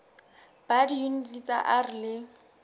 ba diyuniti tsa r le